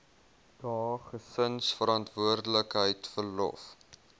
dae gesinsverantwoordelikheid verlof